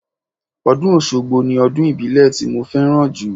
Ọdún Oṣogbo ni ọdún ìbílẹ̀ tí mo fẹ́ràn jù.